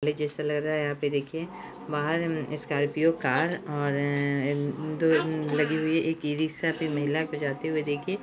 पहले जैसा लग रहा है यहाँ पर देखिये बाहर स्कॉर्पिओ कार और एक-दो लगी हुई है एक इ-रिस्खा पे महिला को जाते हुए देखिये।